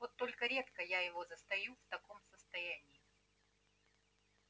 вот только редко я его застаю в таком состоянии